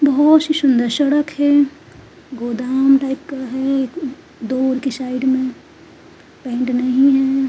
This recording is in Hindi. बहौत सी सुंदर सड़क है गोदाम टाइप का है दूर की साइड में पेंट नहीं है।